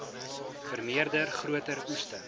vermeerder groter oeste